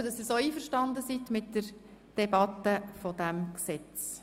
Ich hoffen, dass sie einverstanden sind mit der so durchzuführenden Debatte dieses Gesetzes.